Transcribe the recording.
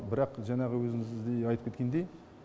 бірақ жаңағы өзіңіз де айтып кеткендей